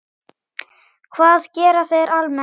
Hvað gera þeir almennt?